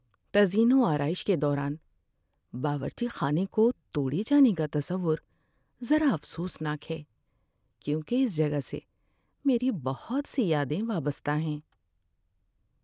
تزئین و آرائش کے دوران باورچی خانے کو توڑے جانے کا تصور ذرا افسوس ناک ہے، کیونکہ اس جگہ سے میری بہت سی یادیں وابستہ ہیں۔